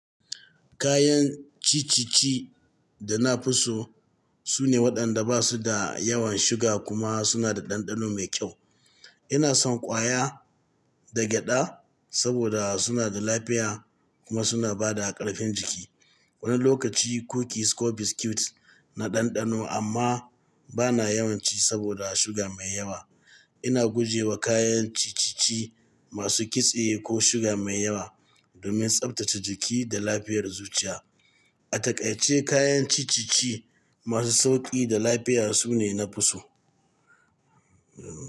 Kayan ciccici da na fi so sune waɗanda ba su da yawan suga kuma suna da ɗanɗano mai kyau. Ina son ƙwaya da gyaɗa saboda suna da lafiya kuma suna ba da ƙarfin jiki. Wani lokaci kukis ko biskit na ɗanɗano amma ba na yawan ci saboda suga mai yawa. Ina guje wa kayan ciccici masu kitse ko suga mai yawa domin tsaftace jiki da lafiyar zuciya. A takaice, kayan ciccici masu sauƙi da lafiya su ne na fi so.